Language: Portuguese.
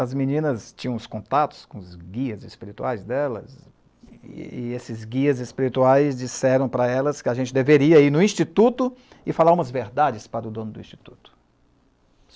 As meninas tinham os contatos com os guias espirituais delas, e esses guias espirituais disseram para elas que a gente deveria ir no Instituto e falar umas verdades para o dono do Instituto.